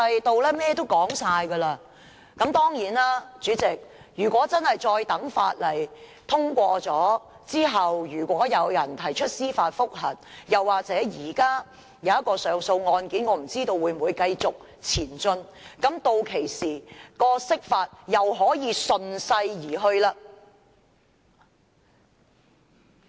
當然，代理主席，如果《條例草案》通過後有人提出司法覆核，又或現時那宗上訴案件有甚麼新進展，屆時釋法又可以順勢而行了。